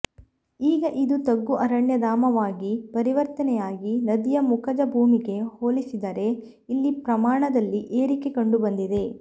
ಈಗ ಇದು ತಗ್ಗು ಅರಣ್ಯ ಧಾಮವಾಗಿ ಪರಿವರ್ತನೆಯಾಗಿ ನದಿಯ ಮುಖಜ ಭೂಮಿಗೆ ಹೋಲಿಸದರೆ ಇಲ್ಲಿ ಪ್ರಮಾಣದಲ್ಲಿ ಏರಿಕೆ ಕಂಡು ಬಂದಿದೆ